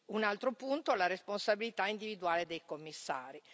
Un altro punto è la responsabilità individuale dei Commissari.